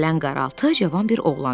Gələn qaraltı cavan bir oğlan idi.